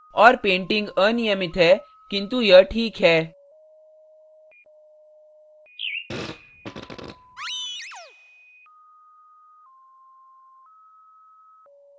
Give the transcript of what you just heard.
और painting अनियमित है किन्तु यह ठीक है